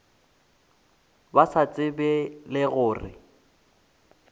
ba sa tsebego le gore